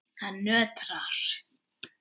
Hann nötrar.